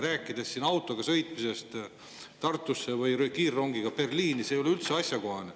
Rääkida siin autoga sõitmisest Tartusse või kiirrongiga Berliini – see ei ole üldse asjakohane.